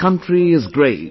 Our country is great